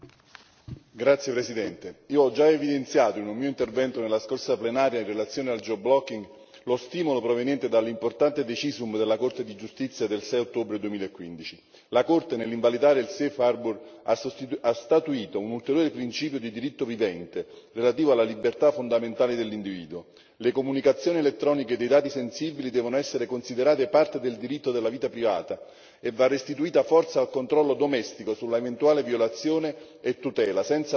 Signora Presidente, onorevoli colleghi, io ho già evidenziato, in un mio intervento nella scorsa plenaria in relazione al lo stimolo proveniente dall'importante decisum della Corte di giustizia del 6 ottobre 2015. La Corte, nell'invalidare il Safe Harbour, ha statuito un ulteriore principio di diritto vivente relativo alla libertà fondamentale dell'individuo. Le comunicazioni elettroniche dei dati sensibili devono essere considerate parte del diritto della vita privata e va restituita forza al controllo domestico sull'eventuale violazione e tutela.